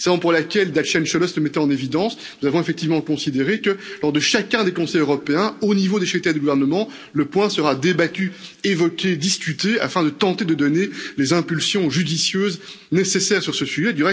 C'est la raison pour laquelle, comme Dacian Cioloş l'a mis en évidence, nous avons effectivement considéré que, lors de chacun des Conseils européens, au niveau des chefs d'État ou de gouvernement, le point devra être débattu, évoqué, discuté afin de tenter de donner les impulsions judicieuses nécessaires sur ce sujet.